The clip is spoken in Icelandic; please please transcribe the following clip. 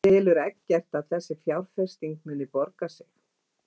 En telur Eggert að þessi fjárfesting muni borga sig?